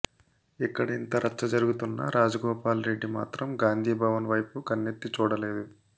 ఇక్కడ ఇంత రచ్చ జరుగుతున్నా రాజగోపాల్ రెడ్డి మాత్రం గాంధీభవన్ వైపు కన్నెత్తి చూడలేదు